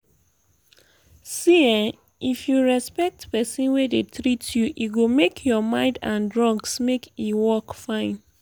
see ehnn if you respect person wey dey treat you e go make your mind and drugs make e work fine.